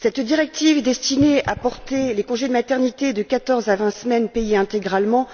Cette directive destinée à porter le congé de maternité de quatorze à vingt semaines payées intégralement,